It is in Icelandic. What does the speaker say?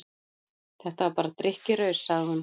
Þetta var bara drykkjuraus, sagði hún.